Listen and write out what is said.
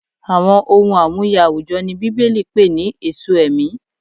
Àwọn ohun amuye àwùjọ ni Bíbélì pè ní "èso ẹ̀mí."